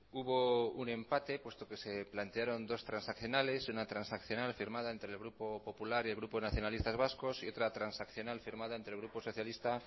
hubo un empate puesto que se plantearon dos transaccionales una transaccional firmada entre el grupo popular y el grupo nacionalistas vacos y otra transaccional firmada entre el grupo socialista